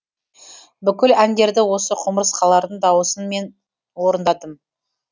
бүкіл әндерді осы құмырсқалардың дауысын мен орындадым